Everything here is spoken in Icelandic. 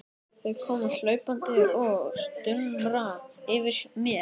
Þau koma hlaupandi og stumra yfir mér.